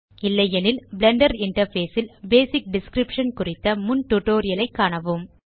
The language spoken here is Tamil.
இல்லையெனில் பிளெண்டர் இன்டர்ஃபேஸ் ல் பேசிக் டிஸ்கிரிப்ஷன் குறித்த முன் டியூட்டோரியல் ஐ காணவும்